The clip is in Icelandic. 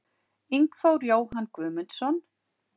Ingþór Jóhann Guðmundsson